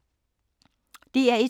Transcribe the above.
DR1